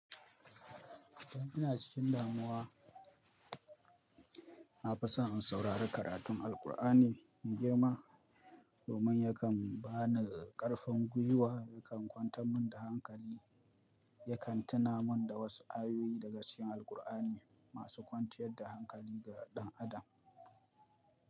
Dan ina cikin damuwa na fi so in saurari karatun Alqur'ani na girma, domin yakan ba ni ƙarfin gwiwa, yakan kwanta mun da hankali, yakan tuna mun da wasu ayoyi daga cikin Alqur'ani masu kwanciyar da hankali ga ɗan adam.